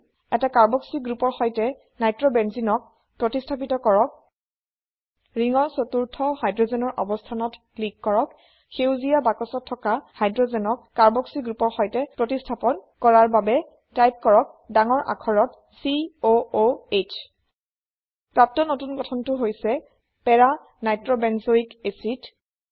এটা কাৰ্বক্সি গ্ৰোপৰ সৈতে Nitrobenzeneক প্ৰতিস্হাপিত কৰক ৰিংৰ চতুৰ্থ হাইড্ৰোজেন ৰ অবস্থানত ক্লিক কৰক সেইজীয়া বাক্সত থকা হাইড্ৰোজেন ক কাৰ্বক্সি গ্ৰোপৰ সৈতেপ্ৰতিস্থাপন কৰাৰ বাবে টাইপ কৰক ডাঙৰ আখৰত C O O H প্ৰাপ্ত নতুন গঠনটো হৈছে para নাইট্ৰবেঞ্জয়ক এচিড